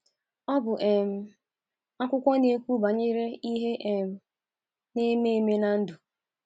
Ọ bụ um akwụkwọ na - ekwu banyere ihe um na-eme eme na ndụ.